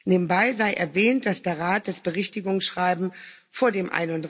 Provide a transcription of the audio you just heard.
Nebenbei sei erwähnt, dass der Rat das Berichtigungsschreiben vor dem